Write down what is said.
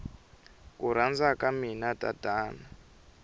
ku rhandza ka mina tatana